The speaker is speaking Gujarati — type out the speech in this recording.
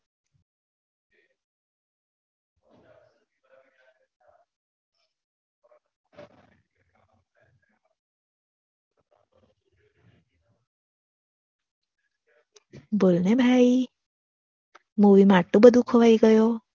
બોલને ભાઈ movie આટલો બધો ખોવાઈ ગયો